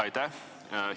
Aitäh!